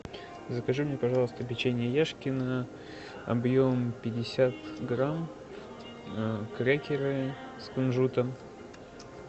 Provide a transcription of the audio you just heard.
закажи мне пожалуйста печенье яшкино объем пятьдесят грамм крекеры с кунжутом